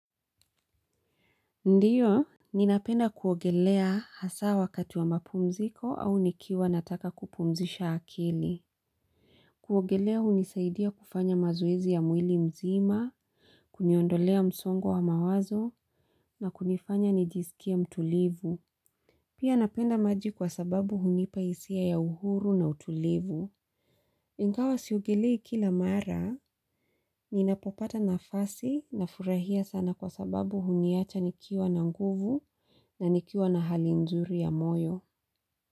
Ndiyo, ninapenda kuogelea hasa wakati wa mapumziko au nikiwa nataka kupumzisha akili. Kuogelea unisaidia kufanya mazoezi ya mwili mzima, kuniondolea msongo wa mawazo na kunifanya nijisikie mtulivu. Pia napenda maji kwa sababu hunipa hisia ya uhuru na utulivu. Ingawa siogelei kila mara, ninapopata nafasi nafurahia sana kwa sababu huniacha nikiwa na nguvu na nikiwa na hali nzuri ya moyo.